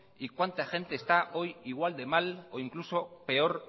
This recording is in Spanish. y cuánta gente está hoy igual de mal o incluso peor